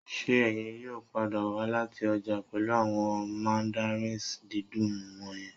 Ṣé ẹ̀yin yóò padà wá láti ọjà pẹ̀lú àwọn mandarins dídùn wọ̀nyẹn